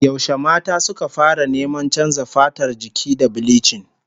Yaushe mata suka fara neman canza fatar jiki da bilichin?